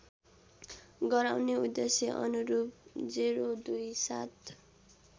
गराउने उद्देश्यअनुरूप ०२७